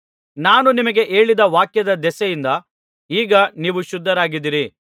ನಾನು ನಿಮಗೆ ಹೇಳಿದ ವಾಕ್ಯದ ದೆಸೆಯಿಂದ ಈಗ ನೀವು ಶುದ್ಧರಾಗಿದ್ದೀರಿ